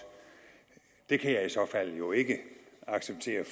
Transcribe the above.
det kan jeg i så fald jo ikke acceptere